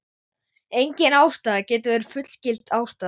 Engin ástæða getur verið fullgild ástæða.